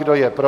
Kdo je pro?